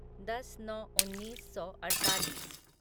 दस नौ उन्नीस सौ अड़तालीस